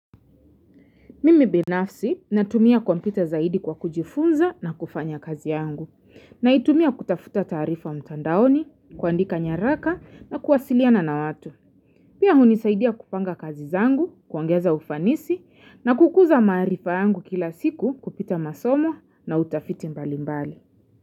Mimi binafsi natumia kompyuta zaidi kwa kujifunza na kufanya kazi yangu. Naitumia kutafuta taarifa mtandaoni, kuandika nyaraka na kuwasiliana na watu. Pia hunisaidia kupanga kazi zangu, kuongeza ufanisi na kukuza maarifa yangu kila siku kupita masomo na utafiti mbali mbali.